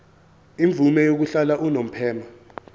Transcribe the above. imvume yokuhlala unomphema